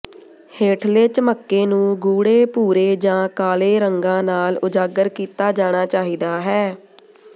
ਹੇਠਲੇ ਝਮੱਕੇ ਨੂੰ ਗੂੜ੍ਹੇ ਭੂਰੇ ਜਾਂ ਕਾਲੇ ਰੰਗਾਂ ਨਾਲ ਉਜਾਗਰ ਕੀਤਾ ਜਾਣਾ ਚਾਹੀਦਾ ਹੈ